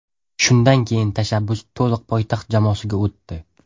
Shundan keyin tashabbus to‘liq poytaxt jamoasiga o‘tdi.